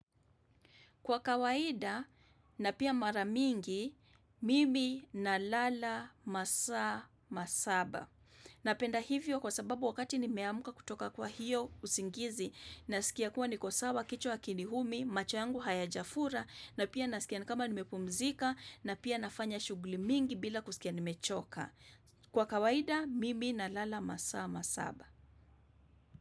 Kwa kawaida, na pia mara mingi, mimi, na lala, masaa, masaba. Napenda hivyo kwa sababu wakati nimeamka kutoka kwa hiyo usingizi. Nasikia kuwa niko sawa, kichwa hakiniumi, macho yangu hayajafura. Na pia nasikia ni kama nimepumzika. Na pia nafanya shughuli mingi bila kusikia nimechoka. Kwa kawaida, mimi, na lala, masa, masaba.